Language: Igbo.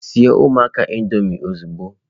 Siere ụmụaka Indọmịị ozugbo!